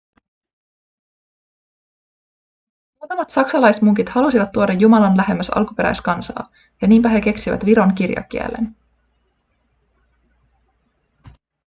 muutamat saksalaismunkit halusivat tuoda jumalan lähemmäs alkuperäiskansaa ja niinpä he keksivät viron kirjakielen